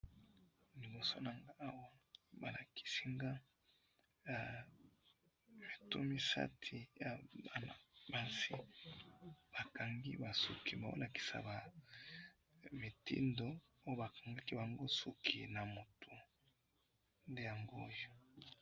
libosonanga awa balakisanga eh mitu misati yabana basi bakangi basuki bolakisaba mitindo bobakangaki bango yasiki yamutu ndeyango oyo